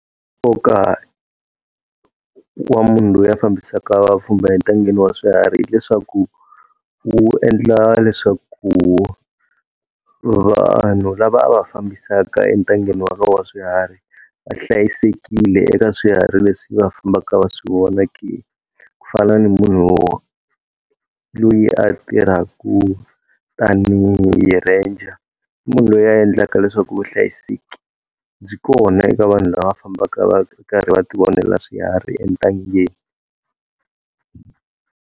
Nkoka wa munhu loyi a fambisaka vapfhumba entangeni wa swiharhi hileswaku wu endla leswaku vanhu lava a va fambisaka entangeni wolowo wa swiharhi, va hlayisekile eka swiharhi leswi va fambaka va swi vona ke, ku fana na munhu loyi a tirhaka tanihi ranger, i munhu loyi ya endlaka leswaku vuhlayiseki byi kona eka vanhu lava va fambaka va ri karhi va ti vonela swiharhi entangeni.